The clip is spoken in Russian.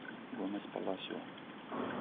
гомес паласио